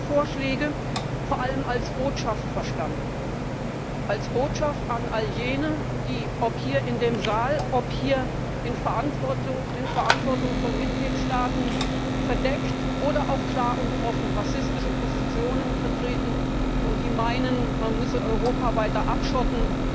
Ich habe Ihre Vorschläge vor allem als Botschaft verstanden, als Botschaft an all jene, die ob hier in dem Saal, ob hier in Verantwortung von Mitgliedstaaten verdeckt oder auch klar und offen rassistische Positionen vertreten und meinen, man müsse Europa weiter abschotten,